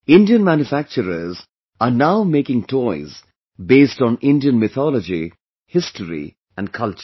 Indian Manufacturers are now making toys based on Indian Mythology, History and Culture